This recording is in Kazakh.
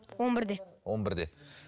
он бірде он бірде